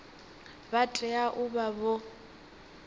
vha tea u vha vho